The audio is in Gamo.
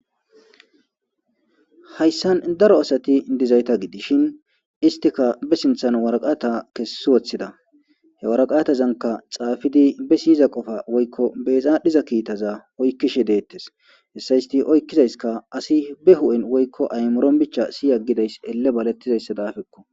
Hayssan daro asati dizayta gidishin istika be sinthan waraqata kessi woththida he waraqatazanka xaafidi be siyiza qofa woykko bezaadhiza kiittaza oykkishe deettes hessa isti oykkizayska asi be hu'en woykko aymoron bicha si aggidays elle balettizayssa daafekko